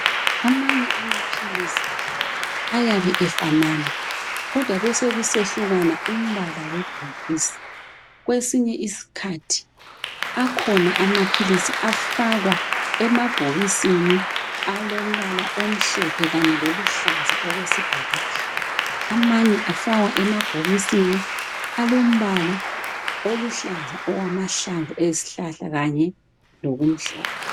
Amanye amaphilisi ayabe efanana, kodwa besekusehlukana umbala webhokisi. Kwesinye isikhathi akhona amaphilisi afakwa emabhokisini alombala omhlophe kanye loluhlaza okwesibhakabhaka. Amanye afakwa emabhokisini alombala oluhlaza okwamahlamvu esibhakabhaka kanye, kanye lokumhlophe.